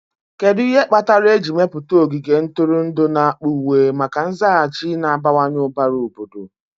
Kedu ihe kpatara eji mepụta ogige ntụrụndụ n'akpa uwe maka nzaghachi na-abawanye ụbara obodo?